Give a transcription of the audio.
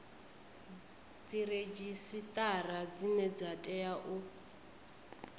dziredzhisitara dzine dza tea u